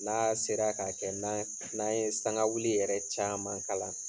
N'a sera k'a kɛ n'a n'a ye sangawili yɛrɛ caman kala,